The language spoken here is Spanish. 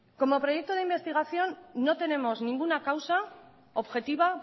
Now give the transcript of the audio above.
como proyecto de investigación no tenemos ninguna causa objetiva